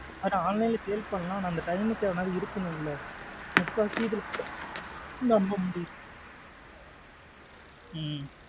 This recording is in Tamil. Online லா sale பண்ணலாம் அந்த timing க்கு அது இருக்கணுல முக்கா வாசி இதுல நம்ப முடியல.